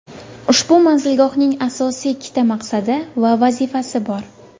Ushbu manzilgohning asosiy ikkita maqsadi va vazifasi bor.